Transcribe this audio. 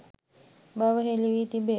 බව හෙළි වී තිබේ.